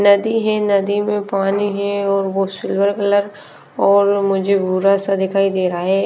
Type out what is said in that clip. नदी है नदी में पानी है और वो सिल्वर कलर और मुझे भूरा सा दिखाई दे रहा है।